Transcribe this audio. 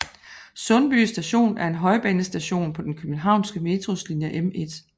Sundby Station er en højbanestation på den københavnske Metros linje M1